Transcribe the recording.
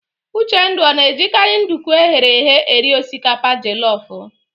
Uchendu ọ na-ejikarị nduku eghere eghe eri osikapa jelọf?